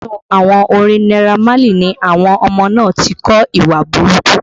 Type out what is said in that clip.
Inú àwọn orin Naira Marley ni àwọn ọmọ náà ti kọ́ ìwà burúkú